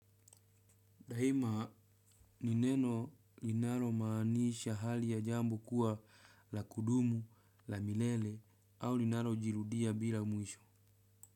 Daima ni neno linaromaanisha hali ya jambo kuwa la kudumu, la milele au linarojirudia bila mwisho.